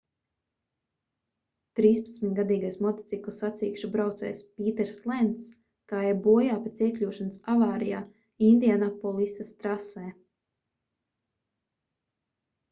trīspadsmitgadīgais motociklu sacīkšu braucējs pīters lencs gāja bojā pēc iekļūšanas avārijā indianapolisas trasē